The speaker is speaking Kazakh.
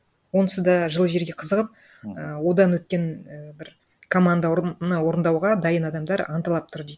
онсыз да жылы жерге қызығып і одан өткен і бір команда орындауға дайын адамдар анталап тұр дейді